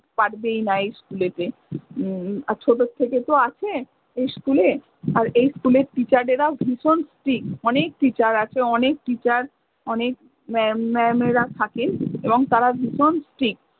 পারবেই না এই school তে। উম আর ছোট থেকে তো আছে এই school এ । আর এই school এর teacher এরা ভীষণ strict আর অনেক teacher আছে অনেক teacher অনেক ma'am ma'am এরা থাকেন এবং তারা ভীষণ strict